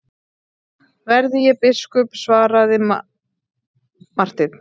Verði ég biskup, svaraði Marteinn.